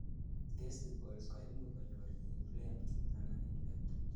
testicles koimuch konyor inflamed anan infected